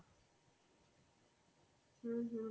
হম